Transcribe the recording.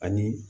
Ani